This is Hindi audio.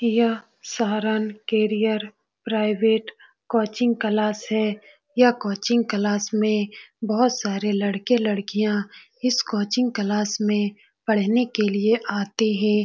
यह Saran career private coaching class है। यह कोचिंग क्लास में बोहोत से लड़के लड़कियां इस कोचिंग क्लास में पढ़ने के लिए आते है।